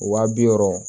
Wa bi wɔɔrɔ